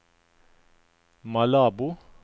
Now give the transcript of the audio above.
Malabo